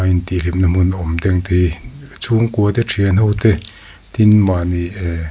in tih hlimna hmun awm chhungkua te thian ho te tin mahni ehh--